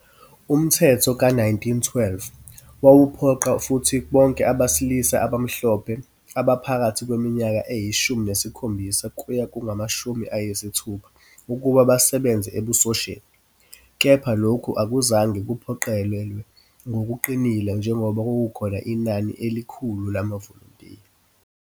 Umthetho ka-1912 wawuphoqa futhi bonke abesilisa abamhlophe abaphakathi kweminyaka eyishumi nesikhombisa kuya kwengamashumi ayisithupha ukuba basebenze ebusosheni, kepha lokhu akuzange kuphoqelelwe ngokuqinile njengoba kwakukhona inani elikhulu lamavolontiya.